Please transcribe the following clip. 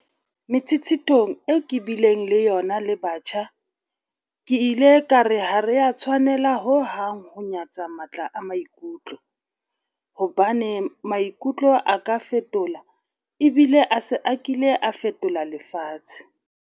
Metshetshethong eo ke bileng le yona le batjha, ke ile ka re ha re a tshwanela ho hang ho nyatsa matla a maikutlo, hobane maikutlo a ka fetola ebile a se a kile a fetola lefatshe.